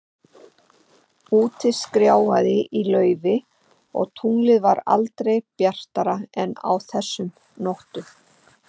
Úti skrjáfaði í laufi, og tunglið var aldrei bjartara en á þessum nóttum.